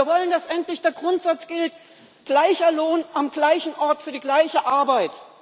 Wir wollen, dass endlich der Grundsatz gilt Gleicher Lohn am gleichen Ort für die gleiche Arbeit!